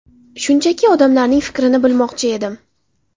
Shunchaki odamlarning fikrini bilmoqchi edim.